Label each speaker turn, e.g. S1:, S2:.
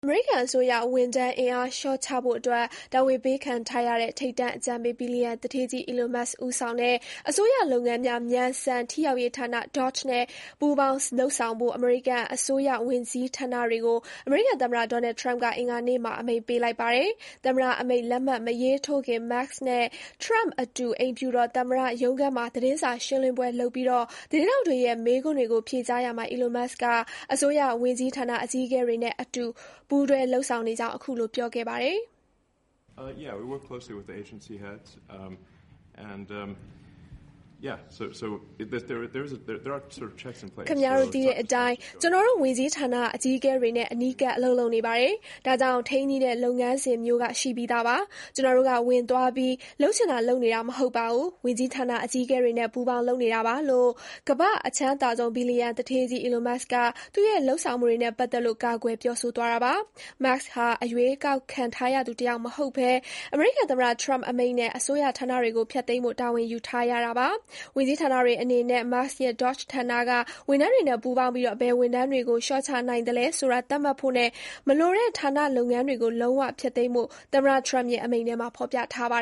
S1: အမေရိကန်အစိုးရဝန်ထမ်းအင်အားလျှော့ချဖို့ တာဝန်ပေးခံထားရတဲ့ ထိပ်တန်းအကြံပေး ဘီလျံနာ Elon Musk ဦးဆောင်တဲ့ အစိုးရလုပ်ငန်းတွေ မြန်ဆန်ထိရောက်ရေးဌာန DOGE နဲ့ ပူးပေါင်း လုပ်ဆောင်ဖို့ အမေရိကန်အစိုးရဝန်ကြီးဌာနတွေကို အမေရိကန်သမ္မတ ဒေါ်နယ်ထရမ့်က အင်္ဂါနေ့မှာ အမိန့်ပေးလိုက်ပါတယ်။ သမ္မတအမိန့်လက်မှတ်မရေးထိုးခင် Musk နဲ့ထရမ့်အတူ အိမ်ဖြူတော်သမ္မတ ရုံးခန်းမှာ သတင်းစာရှင်းလင်းပွဲလုပ်ပြီး သတင်းထောက်တွေရဲ့ မေးခွန်းတွေကို ဖြေကြားရာမှာ Elon Musk က အစိုးရဝန်ကြီးဌာနအကြီးအကဲတွေနဲ့ အတူပူးတွဲလုပ်ဆောင်နေကြောင်း အခုလို ပြောခဲ့ပါတယ်။
S2: “အားလုံးသိတဲ့
S1: အတိုင်း ကျနော်တို့ဝန်ကြီးဌာနအကြီးအကဲတွေနဲ့ အနီးကပ် အလုပ်လုပ်နေပါတယ်။ ဒါကြောင့် ထိန်းညှိတဲ့လုပ်ငန်းစဉ်မျိုးက ရှိပြီးသားပါ။ ကျနော်တို့ကဝင်သွားပြီး လုပ်ချင်တာလုပ်နေတာ မဟုတ်ပါဘူး။ ဝန်ကြီးဌာနအကြီးအကဲတွေနဲ့ ပူးပေါင်းလုပ်နေတာပါ” လို့ ကမ္ဘာ့အချမ်းသာဆုံး ဘီလျံနာ သူဌေးကြီး Elon Musk က သူ့ရဲ့ လုပ်ဆောင်မှုတွေ နဲ့ပတ်သက်လို့ ကာကွယ်ပြောဆိုသွားတာပါ။ Musk ဟာ အရွေးကောက်ခံထားရသူတယောက်မဟုတ်ဘဲ အမေရိကန်သမ္မတ ထရမ့်အမိန့်နဲ့ အစိုးရ ဌာနတွေကိုဖျက်သိမ်းဖို့ တာဝန်ယူထားရတာပါ။ ဝန်ကြီးဌာနတွေအနေနဲ့ Musk ရဲ့ DOGE ဌာနက ဝန်ထမ်းတွေနဲ့ပူးပေါင်းပြီး ဘယ်ဝန်ထမ်းတွေကို လျှော့ချနိုင်သလဲဆိုတာ သတ်မှတ်ဖို့နဲ့ မလိုတဲ့ ဌာနလုပ်ငန်းတွေကို လုံးဝဖျက်သိမ်းဖို့ သမ္မတထရမ့်ရဲ့အမိန့်ထဲမှာ ဖော်ပြထားတာပါ